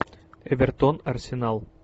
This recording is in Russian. эвертон арсенал